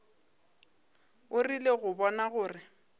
o rile go bona gore